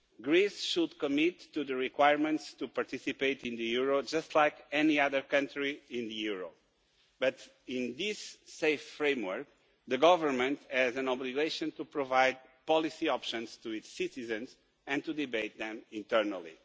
Greece should commit to the requirements to participate in the euro just like any other country in the euro, but in this safe framework the government has an obligation to provide policy options to its citizens and to debate them internally.